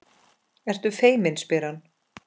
Ertu feimin, spyr hann.